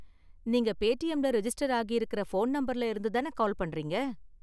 நீங்க பேடிஎம்ல ரிஜிஸ்டர் ஆகியிருக்குற ஃபோன் நம்பர்ல இருந்து தான கால் பண்றீங்க?